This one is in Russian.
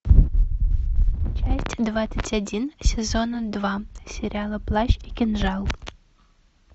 часть двадцать один сезона два сериала плащ и кинжал